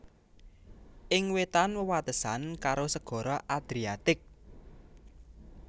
Ing wétan wewatesan karo Segara Adriatik